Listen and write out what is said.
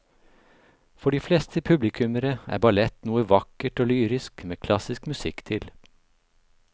For de fleste publikummere er ballett noe vakkert og lyrisk med klassisk musikk til.